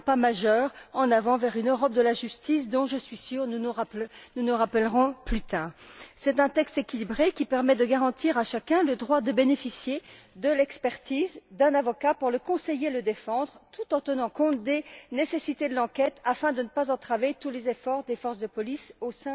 C'est un grand pas en avant vers une Europe de la justice dont je suis sûre nous nous rappellerons plus tard. C'est un texte équilibré qui permet de garantir à chacun le droit de bénéficier de l'expertise d'un avocat pour le conseiller et le défendre, tout en tenant compte des nécessités de l'enquête afin de ne pas entraver tous les efforts des forces de police au